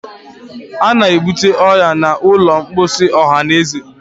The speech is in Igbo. a na-ebute ọrịa n'ụlọ mposi ọhanaeze.